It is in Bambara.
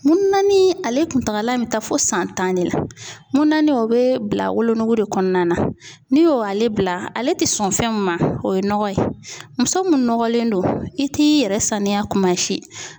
Mununanin ale kuntagala bɛ taa fo san tan de la mununanin o bɛ bila wolonugu de kɔnɔna na n'i y'o ale bila ale tɛ sɔn fɛn min ma o ye nɔgɔ ye muso minnu nɔgɔnlen do i t'i yɛrɛ saniya kuma si.